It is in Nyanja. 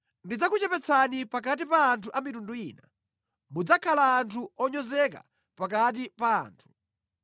“Ndidzakuchepetsani pakati pa anthu a mitundu ina. Mudzakhala anthu onyozeka pakati pa anthu.